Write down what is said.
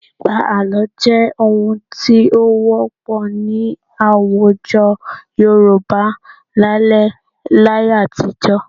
Pípa àlọ́ jẹ́ ohun tí ó wọ́pọ̀ ní àwùjọ Yorùbá lálẹ́ láyé àtijọ́